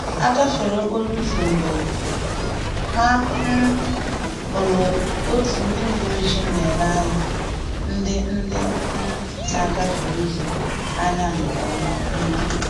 Ha gafere okporo ụzọ mgbe ha um hụrụ otu ndị uweojii na-ele ndị ndị um na-agafe ụzọ anya nke ọma um